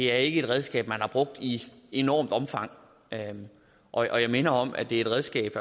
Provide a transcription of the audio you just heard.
er et redskab man har brugt i et enormt omfang og jeg minder om at det er et redskab